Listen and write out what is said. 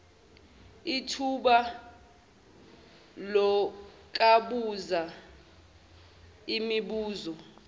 ithuba lokubuza imibuzo